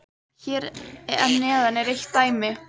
Hér að neðan er eitt dæmi: